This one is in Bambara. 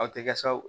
Aw tɛ sa o